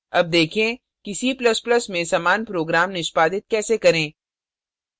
अब देखें कि c ++ में समान program निष्पादित कैसे करें